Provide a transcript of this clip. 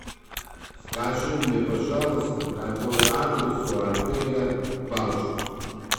скажи мне пожалуйста какой адрес у отеля балчуг